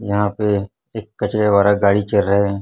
यहां पे एक कचरे वाला गाड़ी चल रहा है।